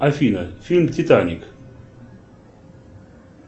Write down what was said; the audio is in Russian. афина фильм титаник